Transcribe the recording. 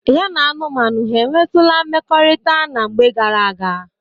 Ya na anụmanụ ha ewtụla mmekorita na mgbe gara aga?